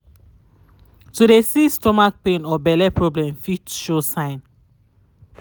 to de see stomach pain or bell problem fit show sgn.